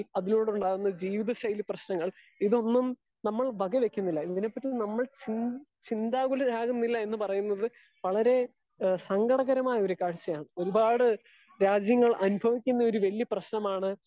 Speaker 2 അതിനോട് ഉണ്ടാകുന്ന ജീവിത ശൈലി പ്രേശ്നങ്ങൾ ഇതൊന്നും നമ്മൾ വക വെക്കുന്നില്ല ഇതിനെ പറ്റി നമ്മൾ ച്ചി ചിന്തഗുലർ ആവുന്നില്ല എന്ന് പറയുന്നത് വളരെ സങ്കടംപരമായ ഒര് കാഴ്ചയാണ്. ഒരുപാട് രാജ്യങ്ങൾ അനുഭവിക്കുന്ന ഒര് വലിയ പ്രേശ്നമാണ്.